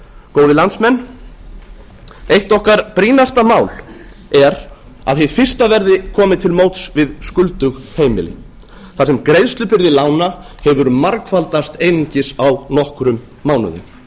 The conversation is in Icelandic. góðir landsmenn eitt okkar brýnasta mál er að hið fyrsta verði komið til móts við skuldug heimili þar sem greiðslubyrði lána hefur margfaldast einungis á nokkrum mánuðum